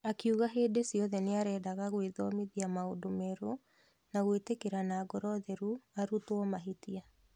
Akiuga hĩndĩ ciothe nĩarendaga gwĩthomithia maũndũ merũ na gwĩtĩkĩra na ngoro theru arutwo mahĩtia.